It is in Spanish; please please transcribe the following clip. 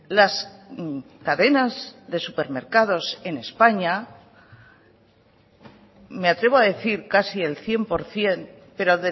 las cadenas de supermercados en españa me atrevo a decir casi el cien por ciento pero